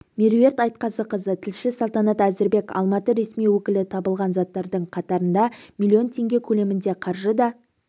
меруерт айтқазықызы тілші салтанат әзірбек алматы ресми өкілі табылған заттардың қатарында миллион теңге көлемінде қаржы да